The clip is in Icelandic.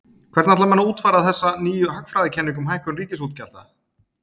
Hvernig ætla menn að útfæra þessa nýju hagfræðikenningu um hækkun ríkisútgjalda?